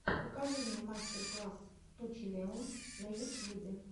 покажи мне мастер класс ту челэуз на ютьюбе